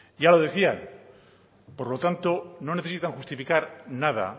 ya lo decían por lo tanto no necesitan justificar nada